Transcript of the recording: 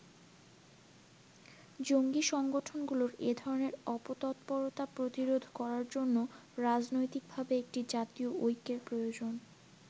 জঙ্গী সংগঠনগুলোর এধরনের অপতৎপরতা প্রতিরোধ করার জন্য রাজনৈতিকভাবে একটি জাতীয় ঐক্যের প্রয়োজন।